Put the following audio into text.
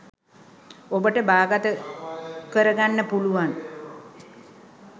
ඔබට බාගත කරගන්න පුළුවන්.